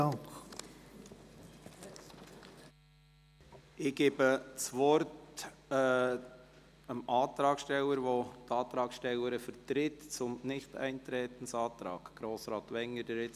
Ich gebe das Wort dem Antragsteller, der die Antragstellerin des Nichteintretensantrags vertritt.